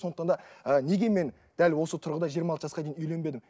сондықтан да ы неге мен дәл осы тұрғыда жиырмы алты жасқа дейін үйленбедім